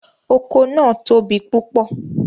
Oko naa tobi pupọ